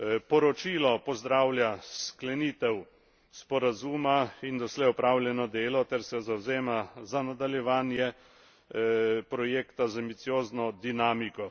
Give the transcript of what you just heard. Poročilo pozdravlja sklenitev sporazuma in doslej opravljeno delo ter se zavzema za nadaljevanje projekta z ambiciozno dinamiko.